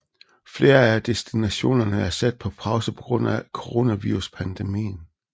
Flere af destinationerne er sat på pause på grund af Coronaviruspandemien